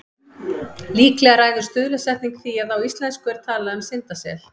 Líklega ræður stuðlasetning því að á íslensku er talað um syndasel.